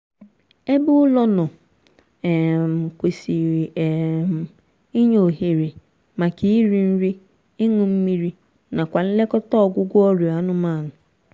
ebe ụlọ nọ um kwesịrị um inye ohere maka iri nri ịñụ mmiri nakwa nlekọta ọịgwụgwọ ọrịa anụmanụ